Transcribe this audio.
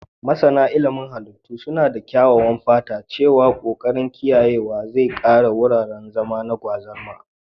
Masana ilimin halittu suna da kyakkyawan fata cewa ƙoƙarin kiyayewa zai kare wuraren zama na gwazarma